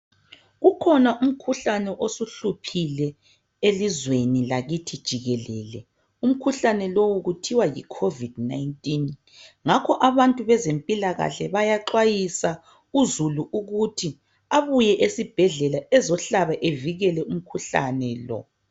Kukhona umkhuhlane osuhluphile elizweni lakithi jikelele. Umkhuhlane lowu kuthiwa yiCovid 19. Ngakho abantu bazempilakahke bayaxwayisa uzulu ukuthi ebuye esibhedlela, azehlaba avikele umkhuhkane lo.